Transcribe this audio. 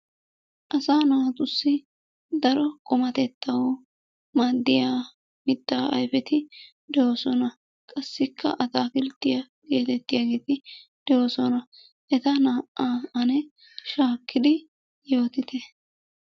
Asaa naatussi daro qummatettawu maadiya mittaa ayfeti doosona. Qassikka ataakkiltiya gettetiyageeti de'oosona. Eta naa"aa shaakkidi yaattite.